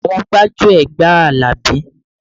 Àwọn gbájúẹ̀ gba Alabi